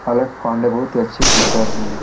पलक पांडे बहुत ही अच्छे टीचर हैं।